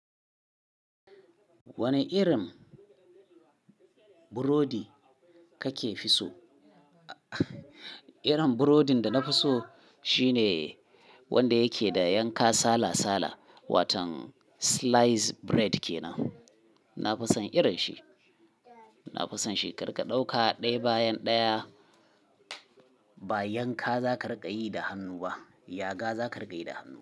Wane irin burodi kake fi so? Irin burodin da na fi so shine wanda yake da yanka sala-sala. Waton slice bread ke nan. Na fi son irin shi. Na fi son shi, kar ka ɗauka ɗaya bayan ɗaya. Ba yanka za ka riƙa yi da hannu ba, yaga za ka riƙa yi da hannu.